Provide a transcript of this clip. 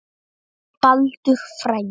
Baldur frændi.